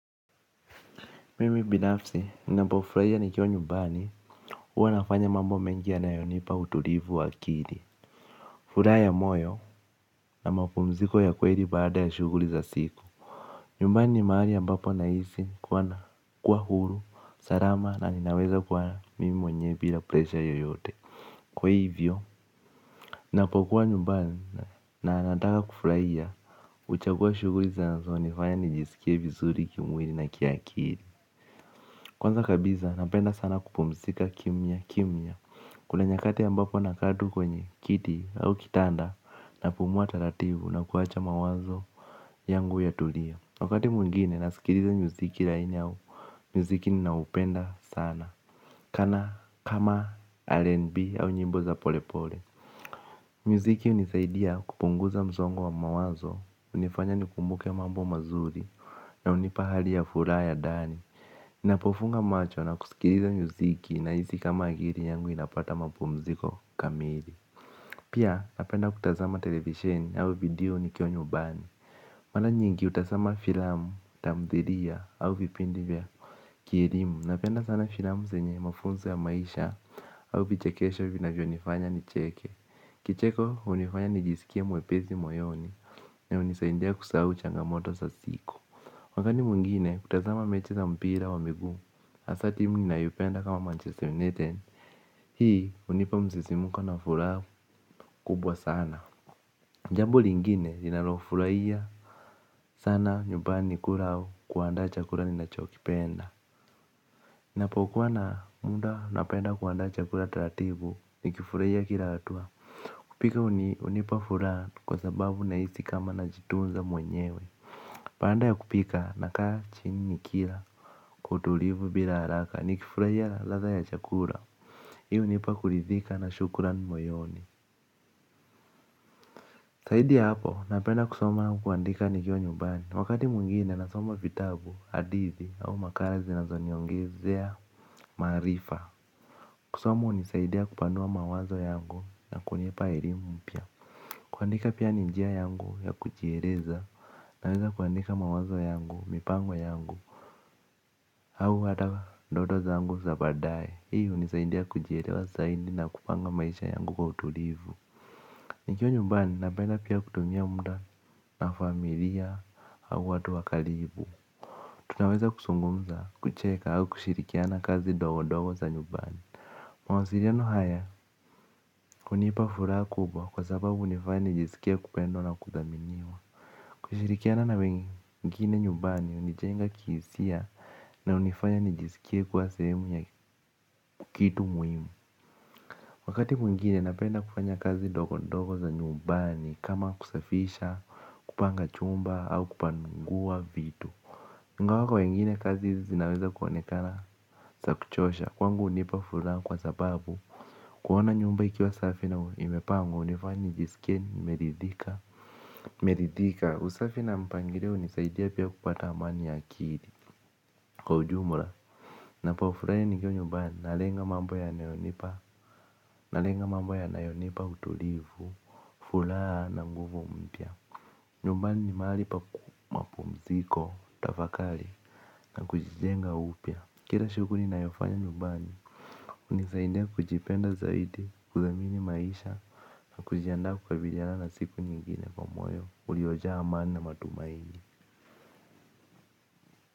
Mimi binafsi ninapofurahia nikiwa nyumbani huwa nafanya mambo mengi yanayo nipa utulivu wa akili. Furaha ya moyo na mapumziko ya kweli baada ya shughuli za siku. Nyumbani ni mahali ambapo nahisi kuwa huru, salama na ninaweza kwa mimi mwenyewe bila presha yoyote. Kwa hivyo nina pokuwa nyumbani na nataka kufurahia huchagua shughuli zinazo nifanya nijisikie vizuri kimwili na kiakili. Kwanza kabisa napenda sana kupumzika kimya kimya. Kuna nyakati ambapo nakaa tu kwenye kiti au kitanda. Napumua taratibu na kuwacha mawazo yangu yatulie. Wakati mwingine nasikiliza muziki laini au muziki ninaupenda sana Kana kama R&B au nyimbo za pole pole. Muziki hunisaidia kupunguza msongo wa mawazo hunifanya nikumbuke mambo mazuri. Na hunipa hali ya furaha ya ndani ninapo funga macho na kusikiliza muziki nahisi kama akili yangu inapata mapumziko kamili pia napenda kutazama televisheni ama video nikiwa nyumbani. Mara nyingi hutazama filamu tamthilia au vipindi vya kielimu napenda sana filamu zenye mafunzo ya maisha au vichekesho vina vyo nifanya nicheke. Kicheko hunifanya nijisikie mwepesi moyoni na hunisaidia kusahau changamoto sa siku. Wakati mwingine kutazama mechi za mpira wa miguu hasa timu ninayo penda kama manchester united. Hii hunipa msisimuko na furaha kubwa sana jambo lingine ninalofurahia sana nyumbani kula au kuandaa chakula ninachokipenda ninapokuwa na muda napenda kuandaa chakula taratibu nikifurahia kila hatua. Kupika hunipa furaha kwa sababu na hisi kama na jitunza mwenyewe baada ya kupika nakaa chini nikila kwa utulivu bila haraka nikifurahia na ladha ya chakula. Hii hunipa kuridhika na shukuran moyoni zaidi ya hapo napenda kusoma au kuandika nikiwa nyumbani. Wakati mwingine nasoma vitabu, hadithi au makala zinazo niongezea maarifa. Kusoma hunisaidia kupanua mawazo yangu na kunipa elimu mpya. Kuandika pia ni njia yangu ya kujieleza naweza kuandika mawazo yangu, mipango yangu au hata ndoto zangu za baadaye, hii hunisaindia kujielewa zaidi na kupanga maisha yangu kwa utulivu. Nikiwa nyumbani napenda pia kutumia muda na familia au watu wa karibu. Tunaweza kuzungumza, kucheka au kushirikiana kazi ndogo ndogo za nyumbani. Mawasiliano haya, hunipa furaha kubwa kwa sababu hunifanya nijisikie kupendwa na kudhaminiwa. Kushirikiana na wengine nyumbani hunijenga kihisia na hunifanya nijisikie kuwa sehemu ya kitu muhimu. Wakati mwingine napenda kufanya kazi ndogo ndogo za nyumbani kama kusafisha kupanga chumba au kupangua vitu ingawa kwa wengine kazi hizi zinaweza kuonekana za kuchosha. Kwangu hunipa furaha kwa sababu kuona nyumba ikiwa safi na imepangwa hunifanya nijisikie nimeridhika nimeridhika usafi na mpangilio hunisaidia pia kupata amani ya akili. Kwa ujumura ninapo furahi nikiwa nyumbani nalenga mambo ya nayonipa nalenga mambo yanayonipa utulivu furaha na nguvu mpya. Nyumbani ni mahali pa mapumziko. Tafakari na kujijenga upya. Kila shughuli ninayofanya nyumbani hunisaidia kujipenda zaidi. Kudhamini maisha kujiandaa kwa vijana na siku nyingine kwa moyo uliojaa amani na matumaini.